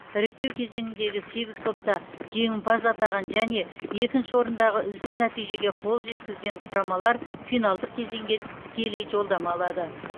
іріктеу кезеңіндегі сегіз топта жеңімпаз атаған және екінші орындағы үздік нәтижеге қол жеткізген құрамалар финалдық кезеңге тікелей жолдама алады